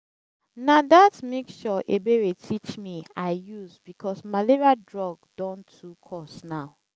na dat mixture ebere teach me i use because malaria drug don too cost now